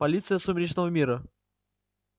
полиция сумеречного мира